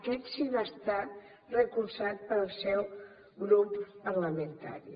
aquest sí que va estar recolzat pel seu grup parlamentari